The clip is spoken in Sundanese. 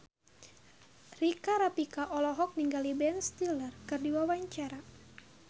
Rika Rafika olohok ningali Ben Stiller keur diwawancara